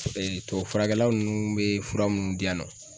tubabufurakɛla nunnu be fura munnu di yan nɔ